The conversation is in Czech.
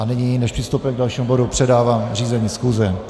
A nyní, než přistoupíme k dalším bodu, předávám řízení schůze.